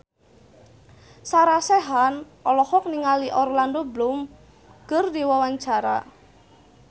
Sarah Sechan olohok ningali Orlando Bloom keur diwawancara